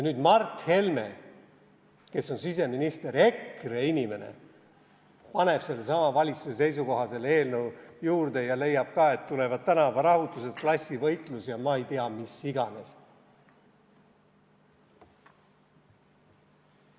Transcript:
Nüüd Mart Helme, kes on siseminister, EKRE inimene, paneb selle eelnõu juurde sellesama valitsuse seisukoha ja leiab ka, et tulevad tänavarahutused, klassivõitlus ja ma ei tea, mis iganes.